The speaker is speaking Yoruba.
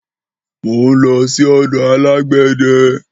Mò n lọ sí ọ̀dọ alàgbéde